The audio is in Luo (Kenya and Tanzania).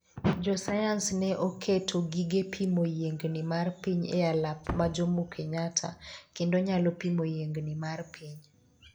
jo sayans ne oketo gige pimo yiengni mar piny e alap ma Jomokenyatta kendo nyalo pimo yiengni mar piny